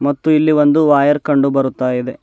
ಮತ್ತು ಇಲ್ಲಿ ಒಂದು ವೈಯರ್ ಕಂಡು ಬರುತ್ತಾ ಇದೆ.